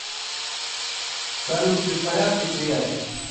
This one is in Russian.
салют ты в порядке приятель